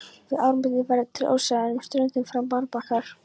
Við ármynnin verða til óseyrar en með ströndum fram marbakkar.